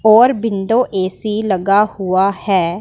और window AC लगा हुआ है।